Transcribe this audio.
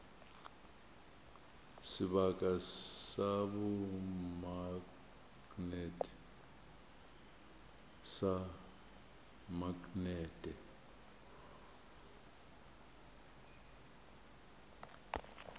sebaka sa bomaknete sa maknete